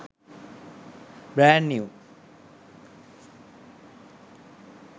brand new